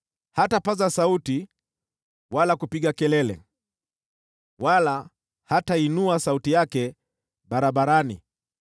Hatapaza sauti wala kupiga kelele, wala hataiinua sauti yake barabarani.